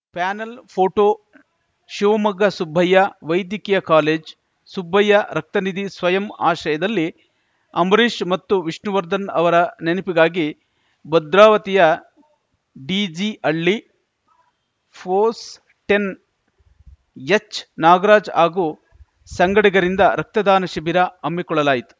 panel photo Shivamogga Subbaiah ವೈದ್ಯಕೀಯಕಾಲೇಜ್ ಸುಬ್ಬಯ್ಯ ರಕ್ತನಿಧಿ ಸ್ವಯಂ ಆಶ್ರಯದಲ್ಲಿ ಅಂಬಿರೀಷ್‌ ಮತ್ತು ವಿಷ್ಣುವರ್ಧನ್‌ ಅವರ ನೆನಪಿಗಾಗಿ ಭದ್ರಾವತಿಯ ಡಿಜಿಹಳ್ಳಿ ಪೋಸ್ಟೆನ್ ಎಚ್‌ ನಾಗರಾಜ್‌ ಹಾಗೂ ಸಂಗಡಿಗರಿಂದ ರಕ್ತದಾನ ಶಿಬಿರ ಹಮ್ಮಿಕೊಳ್ಳಲಾಗಿತ್ತು